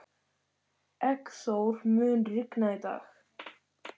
Eggþór, mun rigna í dag?